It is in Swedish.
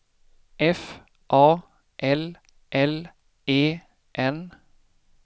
F A L L E N